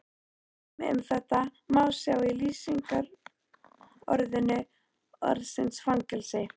Dæmi um þetta má sjá í lýsingu orðsins fangelsi